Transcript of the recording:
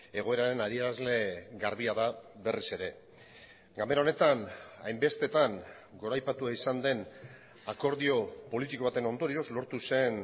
egoeraren adierazle garbia da berriz ere ganbera honetan hainbestetan goraipatua izan den akordio politiko baten ondorioz lortu zen